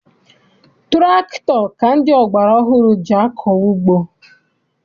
Tụrakịtọ ka ndị ọgbara ọhụrụ ji akọ ugbo.